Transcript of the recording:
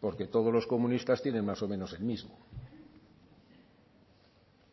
porque todos los comunistas tienen más o menos el mismo